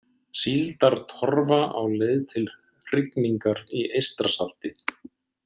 Síldartorfa á leið til hrygningar í Eystrasalti.